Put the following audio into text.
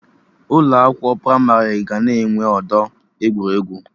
Ụlọ akwụkwọ pramarị ga na-enwe ọdọ egwuregwu